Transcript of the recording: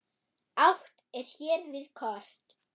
Átt er hér við kort.